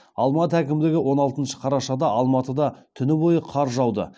алматы әкімдігі он алтыншы қарашада алматыда түні бойы қар жауды